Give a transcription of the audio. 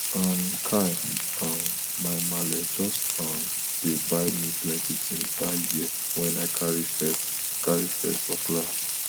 um kai um my maala just um dey buy me plenty tins dat year wen i carry first carry first for class